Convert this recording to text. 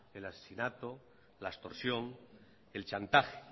el asesinato la extorsión el chantaje